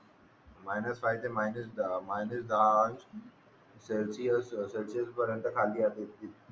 minus five ते minus minus दहा Celsius Celsius पर्यंत खाली येते